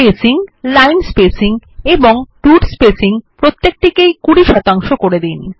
spacing line spacing এবং root spacing প্রত্যেক টিকেই ২০ শতাংশ করে দিন